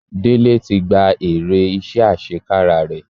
Dele ti gba èrè iṣẹ́ àṣekára rẹ̀.